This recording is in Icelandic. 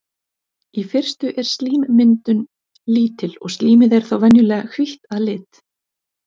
Í fyrstu er slímmyndun lítil og slímið er þá venjulega hvítt að lit.